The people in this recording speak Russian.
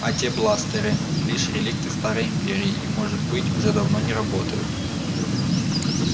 а те бластеры лишь реликты старой империи и может быть уже давно не работают